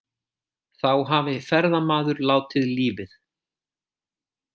Þá hafi ferðamaður látið lífið